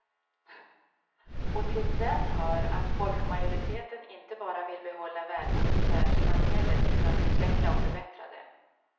Och till den hör att folkmajoriteten inte bara vill behålla välfärdssamhället utan utveckla och förbättra det.